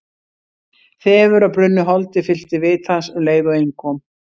Þefur af brunnu holdi fyllti vit hans um leið og inn kom.